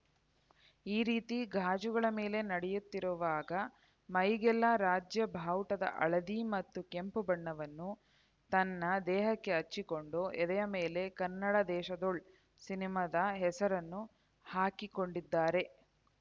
ಈ ರೀತಿ ಗಾಜುಗಳ ಮೇಲೆ ನಡೆಯುತ್ತಿರುವಾಗ ಮೈಗೆಲ್ಲ ರಾಜ್ಯ ಬಾವುಟವಾದ ಹಳದಿ ಮತ್ತು ಕೆಂಪು ಬಣ್ಣವನ್ನು ತನ್ನ ದೇಹಕ್ಕೆ ಹಚ್ಚಿಕೊಂಡು ಎದೆಯ ಮೇಲೆ ಕನ್ನಡ ದೇಶದೋಳ್‌ ಸಿನಿಮಾದ ಹೆಸರನ್ನು ಹಾಕಿಕೊಂಡಿದ್ದಾರೆ